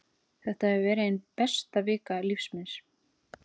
Þetta hefur verið ein besta vika lífs míns.